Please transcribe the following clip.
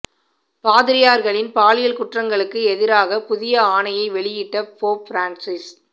பாதிரியார்களின் பாலியல் குற்றங்களுக்கு எதிராக புதிய ஆணையை வெளியிட்ட போப் பிரான்சிஸ்